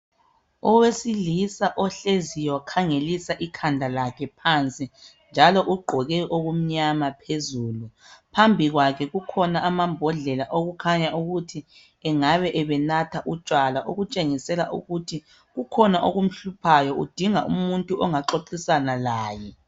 Owesilisa ohleziyo wakhangelisa ikhanda lakhe phansi. Njalo ugqoke okumnyama phezulu. Phambi kwakhe kukhona amabhodlela okukhanya ukuthi engabe ebenatha utshwala okutshengisela ukuthi kukhona okumhluphayo udinga umuntu ongaxoxisana laye.